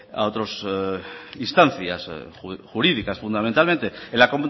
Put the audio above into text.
instancias jurídicas fundamentalmente en la